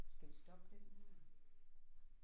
Skal vi stoppe den nu her?